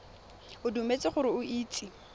o dumetse gore o itse